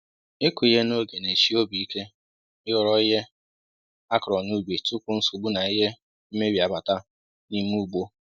ịkụ ihe n'oge n'eshi obi ike i ghọrọ ihe akọrọ n'ubi tupu nsogbu na ihe mmebi abata n'ime ugbo